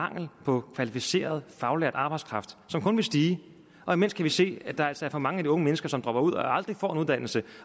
mangel på kvalificeret faglært arbejdskraft som kun vil stige og imens kan vi se at der altså er for mange af de unge mennesker som dropper ud og aldrig får en uddannelse